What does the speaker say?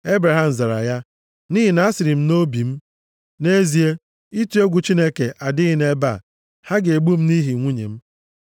Ebraham zara ya, “Nʼihi na asịrị m nʼobi m, ‘Nʼezie, ịtụ egwu Chineke adịghị nʼebe a. Ha ga-egbu m nʼihi nwunye m.’